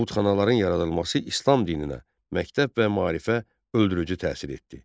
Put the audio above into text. Butxanaların yaradılması İslam dininə, məktəb və maarifə öldürücü təsir etdi.